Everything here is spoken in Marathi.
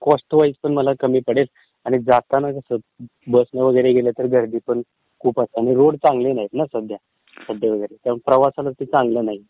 कॉस्टवाइजपण मला जरा कमी पडेल आणि जाताना कसं, जाताना कसं बसने वगैरे गेलं तर, गर्दीपण खूप असेल आणि रोड चांगले नाहीत ना सध्या असं आहे. प्रवासाला चांगल नाहीत.